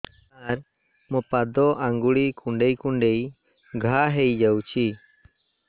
ସାର ମୋ ପାଦ ଆଙ୍ଗୁଳି କୁଣ୍ଡେଇ କୁଣ୍ଡେଇ ଘା ହେଇଯାଇଛି